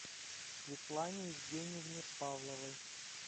светлане евгеньевне павловой